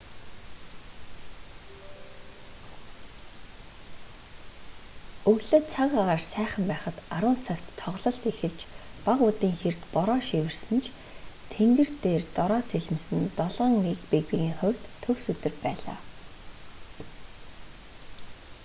өглөө цаг агаар сайхан байхад 10:00 цагт тоглолт эхэлж бага үдийн хэрд бороо шивэрсэн ч тэнгэр тэр дороо цэлмэсэн нь 7-н регбигийн хувьд төгс өдөр байлаа